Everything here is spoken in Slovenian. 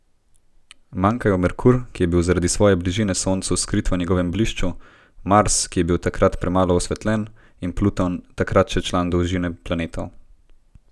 Manjkajo Merkur, ki je bil zaradi svoje bližine Soncu skrit v njegovem blišču, Mars, ki je bil takrat premalo osvetljen, in Pluton, takrat še član družine planetov.